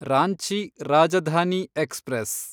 Ranchi Rajdhani express